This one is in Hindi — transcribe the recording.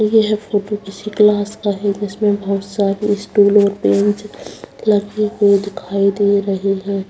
यह फोटो किसी क्लास का है जिसमें बहुत सारे स्टूल और बेंच लगे हुए दिखाई दे रहे हैं ऊपर एक फैन भी दिखाई दे रहा है तथा एक ब्लैक बोर्ड भी दिखाई दे रहा है।